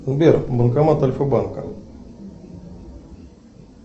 сбер банкомат альфабанка